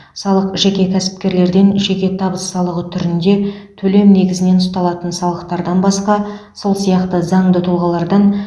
салық жеке кәсіпкерлерден жеке табыс салығы түрінде төлем негізінен ұсталатын салықтардан басқа сол сияқты заңды тұлғалардан